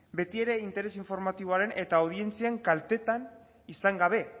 beti ere interes informatiboaren eta audientzien kaltetan izan gabe